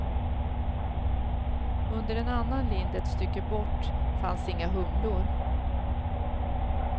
Under en annan lind ett stycke bort fanns inga humlor.